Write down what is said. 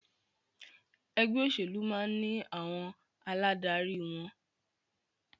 Ẹgbẹ́ òṣèlú máà ní àwọn aládarí wọn.